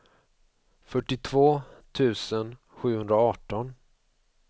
fyrtiotvå tusen sjuhundraarton